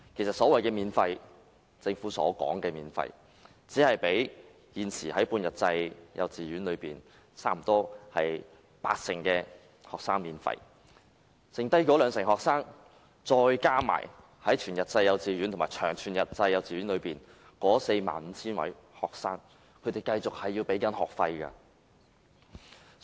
政府其實只是全額資助現時半日制幼稚園約八成學生的學費，餘下兩成學生，加上全日制及長全日制幼稚園內 45,000 名學生仍要繼續繳交學費。